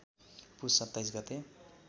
पुस २७ गते